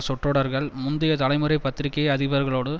சொற்றொடர்கள் முந்திய தலைமுறை பத்திரிகை அதிபர்களோடு